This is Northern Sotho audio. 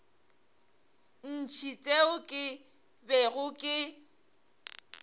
ntši tšeo ke bego ke